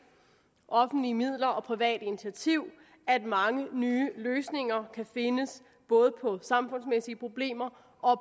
offentlige midler og privat initiativ at mange nye løsninger kan findes både på samfundsmæssige problemer og